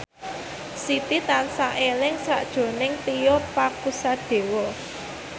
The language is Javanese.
Siti tansah eling sakjroning Tio Pakusadewo